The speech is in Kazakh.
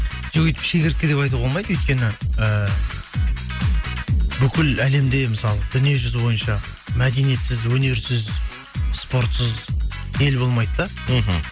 жоқ өйтіп шегіртке деп айтуға болмайды өйткені ііі бүкіл әлемде мысалы дүниежүзі бойынша мәдениетсіз өнерсіз спортсыз ел болмайды да мхм